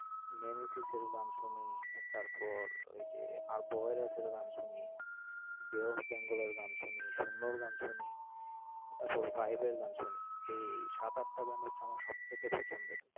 নেমেসিসের গান শুনি, তারপর ওই যে গান শুনি। Bay Of Bengal এর গান শুনি। গান শুনি, এর গান শুনি। এই সাত আটটা band হচ্ছে আমার সবচাইতে পছন্দের।